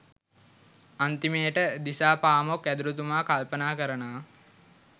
අන්තිමේට දිසාපාමොක් ඇදුරුතුමා කල්පනා කරනවා